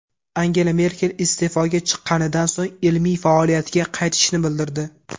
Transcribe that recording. Angela Merkel iste’foga chiqqanidan so‘ng ilmiy faoliyatga qaytishini bildirdi.